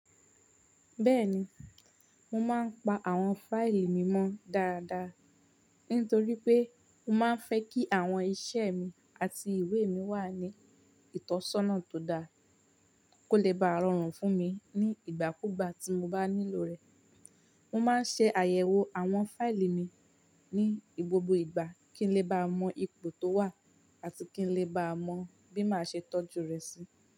Bẹ́ẹ̀ni, mo máa ń pa àwọn fáìlì mi mọ́ dáadáa, nítorí pé mo máa ń fẹ́ kí àwọn iṣẹ́ mi àti ìwé mi wà ní ìtọ́sọ́nà tó dáa, kó lè ba rọrùn fún mi ní ìgbàkúgbà tí mo bá nílò rẹ̀. Mo máa ń ṣe àyẹ̀wò àwọn fáìlì mi ní gbogbo ìgbà kí n lè bá mọ ipò tó wà àti kí n lè bá mọ bí màá ṣe tọ́jú rẹ̀ sí.